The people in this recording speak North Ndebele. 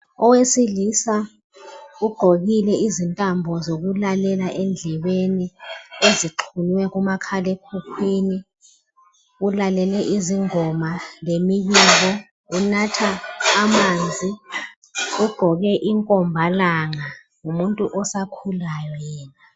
Owesilisa ugqokile izintambo zokulalela endlebeni ezixhunywe kumakhalekhukhwini ulalele izingoma lemibiko. Unatha amanzi ugqoke inkomba langa, ngumuntu osakhulayo yena.